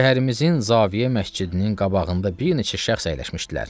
Şəhərimizin Zavyə məscidinin qabağında bir neçə şəxs əyləşmişdilər.